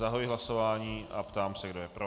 Zahajuji hlasování a ptám se, kdo je pro.